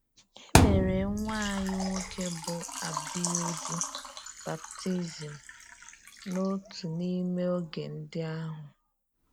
E mere nwa ànyí nwoke bụ́ Àbìyúdí baptizim n’otu n’ime oge ndị ahụ.